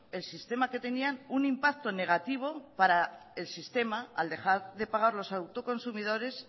el sistema que tenían un impacto negativo para el sistema al dejar de pagar los autoconsumidores